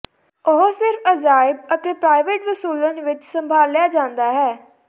ਉਹ ਸਿਰਫ ਅਜਾਇਬ ਅਤੇ ਪ੍ਰਾਈਵੇਟ ਵਸੂਲਣ ਵਿੱਚ ਸੰਭਾਲਿਆ ਜਾਦਾ ਹੈ